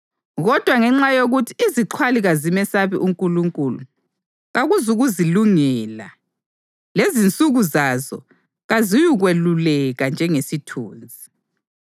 Kodwa ngenxa yokuthi izixhwali kazimesabi uNkulunkulu, kakuzukuzilungela, lezinsuku zazo kaziyukweluleka njengesithunzi.